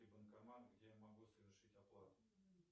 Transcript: банкомат где я могу совершить оплату